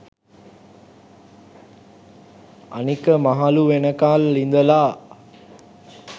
අනික මහළු වෙනකල් ඉඳලා